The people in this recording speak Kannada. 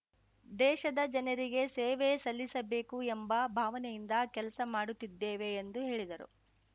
ದೇಶದ ಜನರಿಗೆ ಸೇವೆ ಸಲ್ಲಿಸಬೇಕು ಎಂಬ ಭಾವನೆಯಿಂದ ಕೆಲಸ ಮಾಡುತ್ತಿದ್ದೇವೆ ಎಂದು ಹೇಳಿದರು